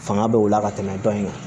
Fanga bɛ o la ka tɛmɛ dɔ in kan